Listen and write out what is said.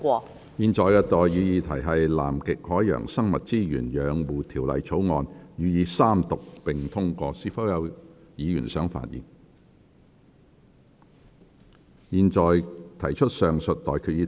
我現在向各位提出的待議議題是：《南極海洋生物資源養護條例草案》予以三讀並通過。是否有議員想發言？我現在向各位提出上述待決議題。